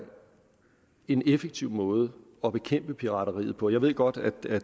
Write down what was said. en effektiv måde at bekæmpe pirateriet på jeg ved godt at